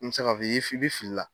N be se ka f'i ye, i bi fili la.